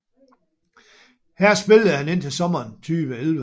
Her spillede han indtil sommeren 2011